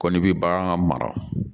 Kɔni bɛ bagan mara